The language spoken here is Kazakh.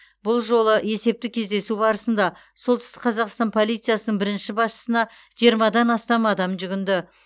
бұл жолы есептік кездесу барысында солтүстік қазақстан полициясының бірінші басшысына жиырмадан астам адам жүгінді